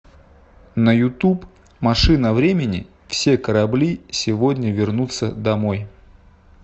на ютуб машина времени все корабли сегодня вернутся домой